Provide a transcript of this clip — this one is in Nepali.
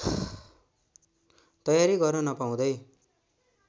तयारी गर्न नपाउँदै